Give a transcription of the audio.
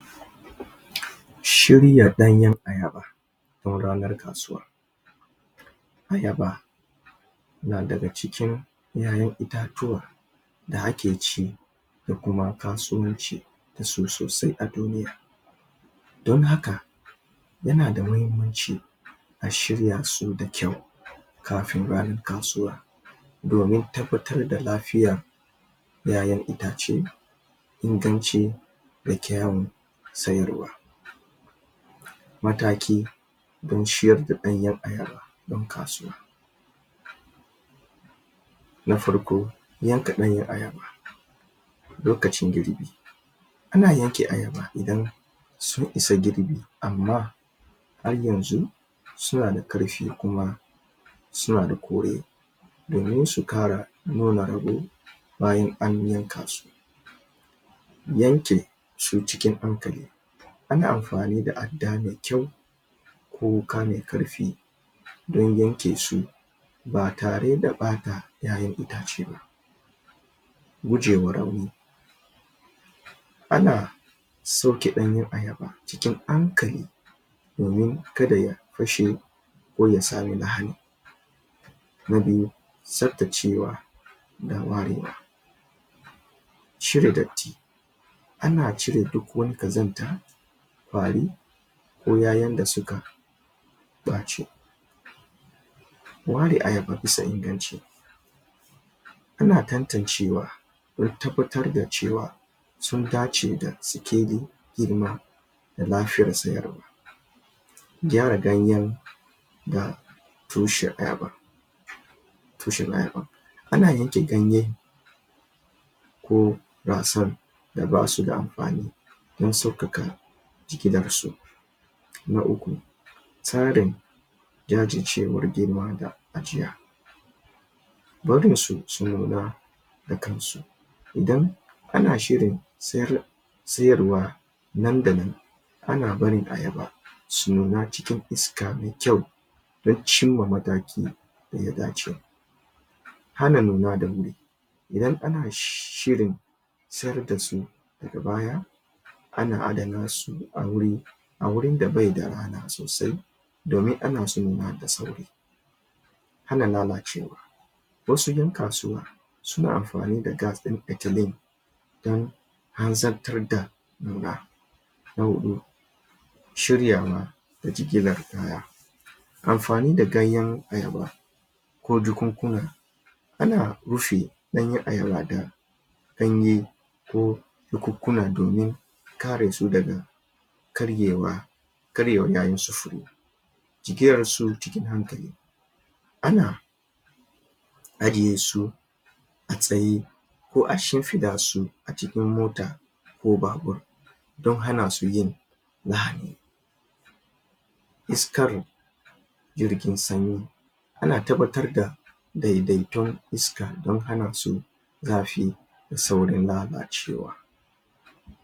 Shirya ɗanyen ayaba don ranan kasuwa Ayaba na daga cikin ƴaƴan itatuwa da ake ci da kuma kasuwanci da su sosai a duniya don haka yana da mahimmanci a shirya su da kyau kafin ranar kasuwa domin tabbatar da lafiya na ƴaƴan itace inganci da kyawun sayarwa Mataki don shiryar da ɗanyen ayaba don kasuwa Na farko, yanka ɗanyen ayaba lokacin girbi ana yanke ayaba idan sun isa girbi amma har yanzu suna da ƙarfi suna da kore domin su ƙara nuna? bayan an yanka su yanke su cikin hankali ana amfani da adda mai kyau ko wuƙa mai ƙarfi don yanke su ba tare da ɓata ƴaƴan itace ba Guje wa rauni Ana Ana sauke ɗanyen ayaba cikin hankali domin kada ya fashe ko ya samu lahani Na biyu, tasftacewa da warewa cire datti Ana cire duk wani ƙazanta, ƙwari ko ƴaƴan da suka ɓaci Ware ayaba bisa inganci Ana tantancewa wurin tabbatar da cewa su dace da sikelin girma da lafiyan sayarwa gyara ganyen da tushen ayaba? A na yanke ganyen ko rassan da basu da amfani don sauƙaƙa jigilar su. Na uku, Tsarin jajircewar girma da ajiya barinsu su nuna da kansu idan ana shirin? sayarwa nan da nan ana barin ayaba su nuna cikin iska mai kyau don cimma mataki da ya dace hana nun da wuri idan ana shirin sayar da su daga baya ana adana su? a wurin da bai da rana sosai domin hana su nuna da sauri Hana lalacewa wasu ƴan kasuwa suna amfani da? don hanzartar da nuna Na hudu Shiryawa da jigilar kaya amfani da ganeyn ayaba ko jakunkuna Ana rufe ɗanyen ayaba da ganye ko jakunkuna domin kare su daga? karyewa yayin sufuri jigilarsi cikin hankali Ana ajiye su a tsaye ko a shimfiɗa su a cikin mota ko babur don hana su yin lahani Isakr jirgin sanyi ana tabbatar da daidaiton iska don hana su zafi da saurin lalacewa.